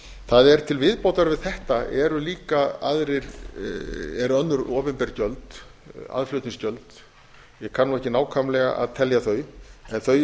það er til viðbótar við þetta eru önnur opinber gjöld aðflutningsgjöld ég kann nú ekki nákvæmlega að telja þau en þau